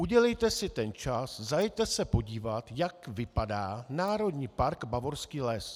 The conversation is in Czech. Udělejte si ten čas, zajeďte se podívat, jak vypadá Národní park Bavorský les.